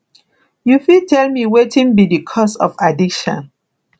you fit tell me wetin be di cause of addiction